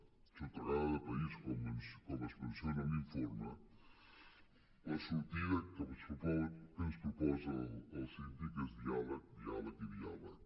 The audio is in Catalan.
sotragada de país com es menciona en l’informe la sortida que ens proposa el síndic és diàleg diàleg i diàleg